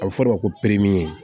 A bɛ fɔ o de ma ko